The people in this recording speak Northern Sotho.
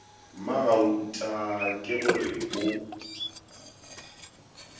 mmagauta ke go re o